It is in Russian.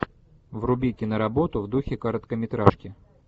вруби киноработу в духе короткометражки